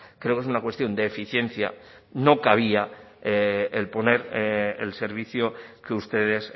creo que es una cuestión de eficiencia no cabía el poner el servicio que ustedes